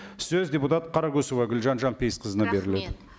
сөз депутат қарақұсова гүлжан жанпейісқызына беріледі рахмет